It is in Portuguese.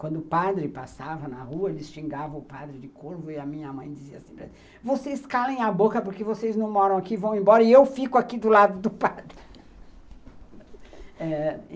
Quando o padre passava na rua, eles xingavam o padre de corvo e a minha mãe dizia assim, vocês calem a boca porque vocês não moram aqui, vão embora e eu fico aqui do lado do padre.